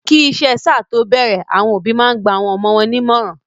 Kí iṣẹ sáà to bẹrẹ, àwọn òbí máa n gba awọn ọmọ wọn ní ìmọràn.